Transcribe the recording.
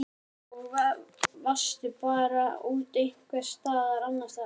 Linda: Og varstu bara settur út einhvers staðar annars staðar?